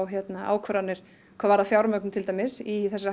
ákvarðanir hvað varðar fjármögnun til dæmis í þessa